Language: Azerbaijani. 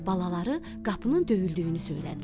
Balaları qapının döyüldüyünü söylədilər.